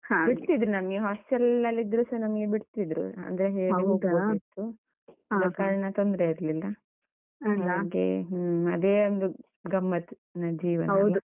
ನಮ್ಗೆ hostel ಅಲ್ಲಿ ಇದ್ರುಸ ನಮ್ಗೆ ಬಿಡ್ತಿದ್ರು ಅಂದ್ರೆ ಹೇಳಿ ಆದ ಕಾರ್ಣ ತೊಂದ್ರೆ ಇರ್ಲಿಲ್ಲ. ಹ್ಮ್ ಅದೇ ಒಂದು ಗಮ್ಮತ್ನ ಜೀವನ